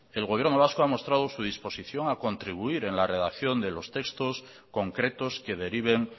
el gobierno vasco ha mostrado su disposición a contribuir en la redacción de los textos concretos que deriven